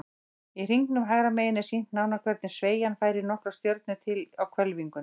Í hringnum hægra megin er sýnt nánar hvernig sveigjan færir nokkrar stjörnur til á hvelfingunni.